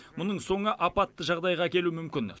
мұның соңы апатты жағдайға әкелуі мүмкін